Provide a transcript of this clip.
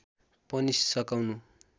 पनि सकाउनु